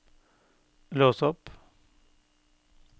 lås opp